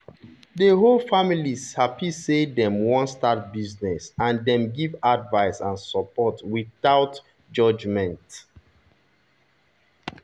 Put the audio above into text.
the whole family happy say dem wan start business and dem give advice and support without judgment.